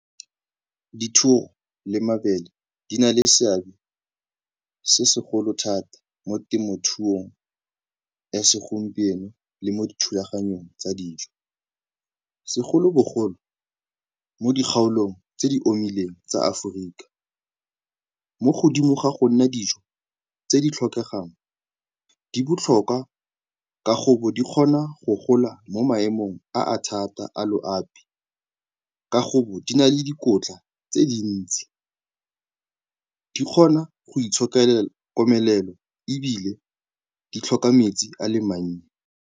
Dithoro le mabele di na le seabe se segolo thata mo temothuong ya segompieno le mo dithulaganyong tsa dijo segolobogolo mo dikgaolong tse di omileng tsa Aforika. Mo godimo ga go nna dijo tse di tlhokegang, di botlhokwa ka go bo di kgona go gola mo maemong a a thata a loapi, ka go bo di na le dikotla tse dintsi. Di kgona go itshokela komelelo ebile di tlhoka metsi a le mannye.